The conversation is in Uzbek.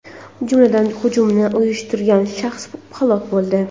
jumladan hujumni uyushtirgan shaxs halok bo‘ldi.